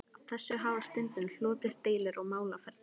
Af þessu hafa stundum hlotist deilur og málaferli.